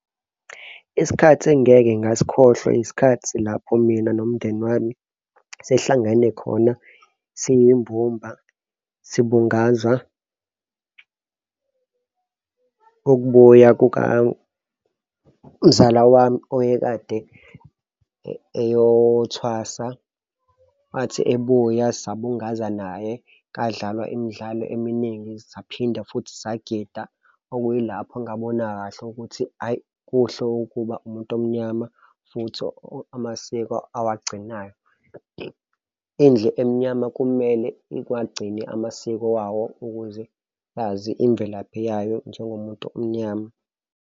Isikhathi engingeke ngasikhohlwa isikhathi lapho mina nomndeni wami sihlangene khona siyimbumba sibungaza ukubuya kukamzala wami oyekade ayothwasa wathi ebuya sibungaza naye. Kadlalwa imidlalo eminingi, saphinda futhi sagida okuyilapho engabona kahle ukuthi hhayi, kuhle ukuba umuntu omnyama futhi amasiko awagcinayo. Indlu emnyama kumele iwagcine amasiko wawo ukuze yazi imvelaphi yayo njengomuntu omnyama.